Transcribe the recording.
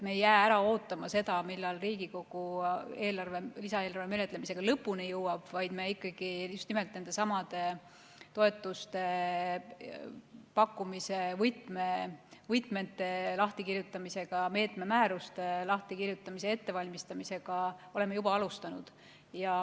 Me ei jää ära ootama, millal Riigikogu lisaeelarve menetlemisega lõpuni jõuab, vaid me ikkagi oleme just nimelt nendesamade toetuse pakkumise võtmete lahtikirjutamisega, meetmemääruste lahtikirjutamise ettevalmistamisega juba alustanud.